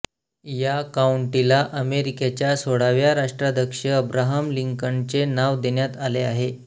या काउंटीला अमेरिकेच्या सोळाव्या राष्ट्राध्यक्ष अब्राहम लिंकनचे नाव देण्यात आले आहे